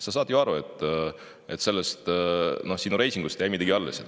Sa saad ju aru, et sinu reitingust ei jää midagi alles.